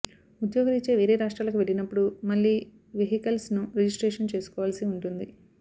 ఉద్యోగ రీత్యా వేరే రాష్ట్రాలకు వెళ్లినప్పుడు మళ్లీ వెహికల్స్ ను రిజిస్ట్రేషన్ చేసుకోవాల్సి ఉంటుంది